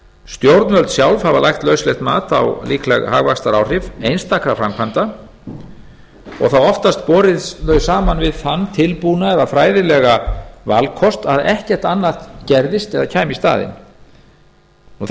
stjórnvöld sjálf hafa lagt lauslegt mat á líkleg hagvaxtaráhrif einstakra framkvæmda og þá oftast borið þau saman við þann tilbúna eða fræðilega valkost að ekkert annað gerðist eða kæmi í staðinn